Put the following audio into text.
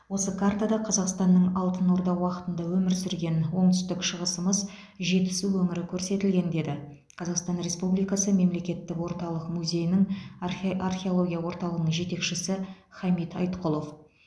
осы картада қазақстанның алтын орда уақытында өмір сүрген оңтүстік шығысымыз жетісу өңірі көрсетілген деді қазақстан республикасы мемлекеттік орталық музейінің архео археология орталығының жетекшісі хамит айтқұлов